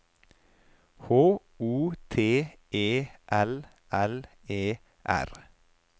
H O T E L L E R